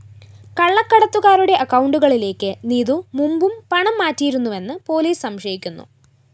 കള്ളക്കടത്തുകാരുടെ അക്കൗണ്ടുകളിലേക്ക് നീതു മുമ്പും പണം മാറ്റിയിരുന്നുവെന്ന് പോലീസ് സംശയിക്കുന്നു